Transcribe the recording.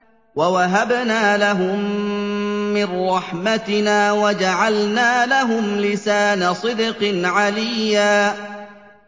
وَوَهَبْنَا لَهُم مِّن رَّحْمَتِنَا وَجَعَلْنَا لَهُمْ لِسَانَ صِدْقٍ عَلِيًّا